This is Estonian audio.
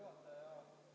Hea juhataja!